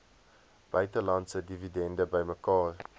buitelandse dividende bymekaar